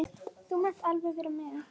Þú mátt alveg vera með.